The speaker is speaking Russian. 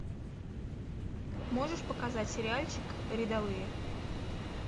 можешь показать сериальчик рядовые